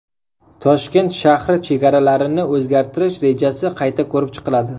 Toshkent shahri chegaralarini o‘zgartirish rejasi qayta ko‘rib chiqiladi.